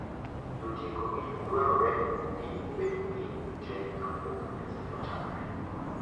Jotieko gi dwarore ni obed piny tee kapok nyasi ochakre.